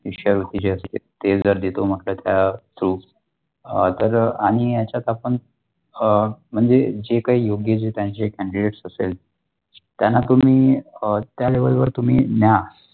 शिष्यवृत्ती ते जर देतो म्हटले तर अ अशा जर आणि ह्यचात आपण अ म्णजे जे काही योग्य जे त्यांचे candidates असेल त्याना तुम्ही अ त्या level वर तुम्ही न्या.